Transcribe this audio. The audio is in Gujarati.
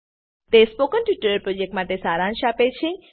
તે સ્પોકન ટ્યુટોરીયલ પ્રોજેક્ટનો સારાંશ આપે છે